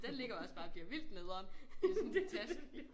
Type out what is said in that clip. Den ligger også bare og bliver vildt nedern i sådan en taske